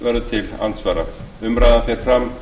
auður lilja erlingsdóttir hefur undirritað drengskaparheit að